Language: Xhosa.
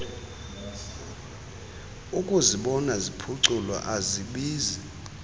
ukuzibona ziphuculwa azibizi